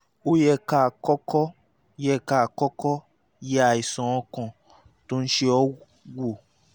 ó yẹ ká kọ́kọ́ yẹ ká kọ́kọ́ yẹ àìsàn ọkàn tó ń ṣe ẹ́ wò